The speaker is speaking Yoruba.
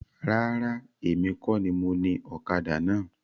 Rárá, èmi kọ ní mo ní ọ̀kadà náà.